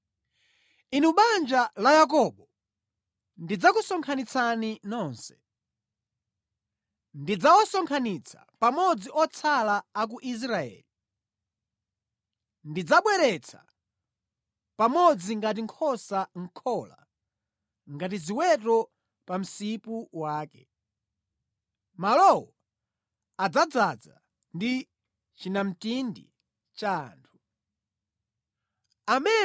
“Inu banja la Yakobo, ndidzakusonkhanitsani nonse; ndidzawasonkhanitsa pamodzi otsala a ku Israeli. Ndidzawabweretsa pamodzi ngati nkhosa mʼkhola, ngati ziweto pa msipu wake; malowo adzadzaza ndi chinamtindi cha anthu.